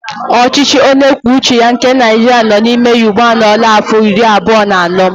Ọchịchị onyekwuoucheya nke naijiria nọ n'ime ya ugbu anọọla áfọ̀ iri abụọ na anọ.